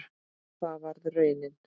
Og það varð raunin.